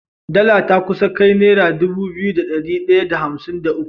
Dala ta kusa ta kai naira Dubu biyu da dari daya da hamsin da uku